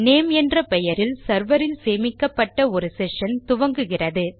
name என்ற பெயரில் server இல் சேமிக்கப்பட்ட ஒரு செஷன் துவங்குகிறது